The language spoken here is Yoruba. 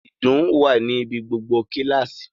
Ìdun wà ní ibi gbogbo kíláàsì